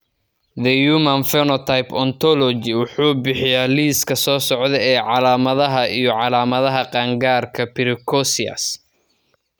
The Human Phenotype Ontology wuxuu bixiyaa liiska soo socda ee calaamadaha iyo calaamadaha qaangaarka Precocious.